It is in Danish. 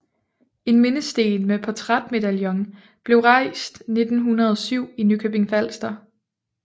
En mindesten med portrætmedaljon blev rejst 1907 i Nykøbing Falster